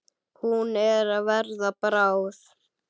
Hún er að verða bráð.